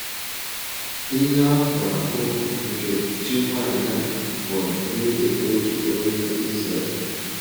Ihe a kpụrụ akpụ nke Chí nwanyị a hụrụ n’ìlì otu onye Ìzrèl.